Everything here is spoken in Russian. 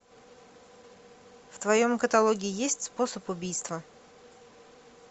в твоем каталоге есть способ убийства